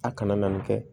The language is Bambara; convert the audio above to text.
A kana na nin kɛ